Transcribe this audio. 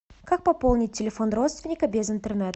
как пополнить телефон родственника без интернета